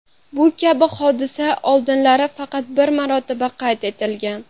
Bu kabi hodisa oldinlari faqat bir marotaba qayd etilgan.